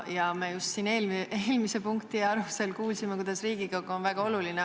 Me just siin eelmise punkti arutelul kuulsime, kuidas Riigikogu on väga oluline.